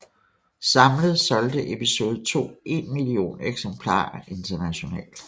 Samlet solgte Episode II en million eksemplarer internationalt